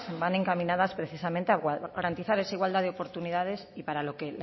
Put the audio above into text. van encaminadas precisamente a garantizar esa igualdad de oportunidades y para lo que